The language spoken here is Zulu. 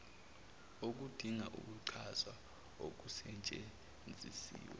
okudinga ukuchazwa okusetshenzisiwe